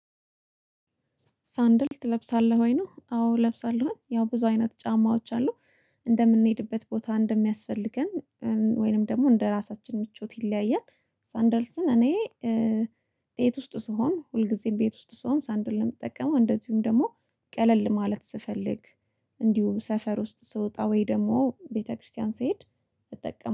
ሳንደል ትለብሳለህ ወይ? ነው አዎ እለብሳለሁ ያው ብዙ አይነት ጫማዎች አሉ እንደምንሄድበት ቦታ እንደሚያስፈልገን ወይንም ደግሞ እንደራሳችን ምቾት ይለያያል። ሳንደ ልስን እኔ ቤት ውስጥ ስሆን ሁልጊዜም ቤት ውስጥ ስሆን ሳንደል ነው የምጠቀመው። እንደዚሁም ደግሞ ቀለል ማለት ስፈልግ እንዲሁ ሰፈር ውስጥ ስወጣ ወይ ደግሞ ቤተክርስቲያን ስሄድ እጠቀማለሁ